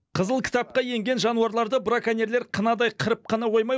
қызыл кітапқа енген жануарларды браконьерлер қынадай қырып қана қоймай